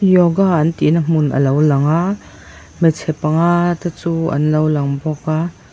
yoga an tih na hmun a lo lang a hmeichhe panga te chu an lo lang bawk a.